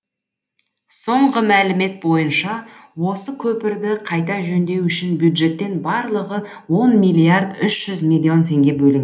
соңғы мәлімет бойынша осы көпірді қайта жөндеу үшін бюджеттен барлығы он миллиард үш жүз миллион теңге бөлін